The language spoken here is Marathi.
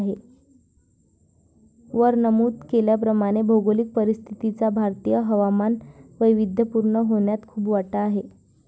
वर नमूद केल्याप्रमाणे भौगोलिक परिस्थितीचा भारतीय हवामान वैविध्यपूर्ण होण्यात खूप वाटा आहे.